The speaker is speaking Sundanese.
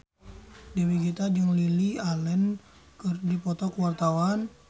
Dewi Gita jeung Lily Allen keur dipoto ku wartawan